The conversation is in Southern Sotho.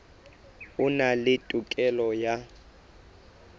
a na le tokelo ya